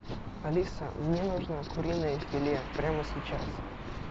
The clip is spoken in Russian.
алиса мне нужно куриное филе прямо сейчас